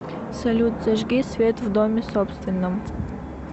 салют зажги свет в доме собственном